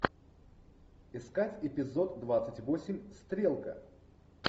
искать эпизод двадцать восемь стрелка